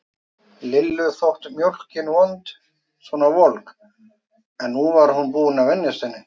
Lillu þótt mjólkin vond svona volg, en nú var hún búin að venjast henni.